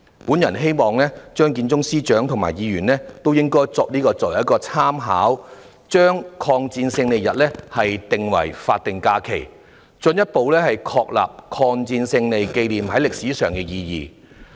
我希望張建宗司長和議員以此作為參考，將抗日戰爭勝利紀念日列為法定假日，進一步確立抗戰勝利紀念在歷史上的意義。